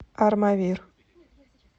армавир